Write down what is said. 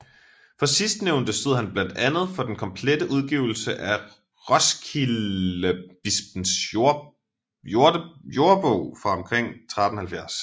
For sidstnævnte stod han blandt andet for den komplette udgivelse af Roskildebispens Jordebog fra omkring 1370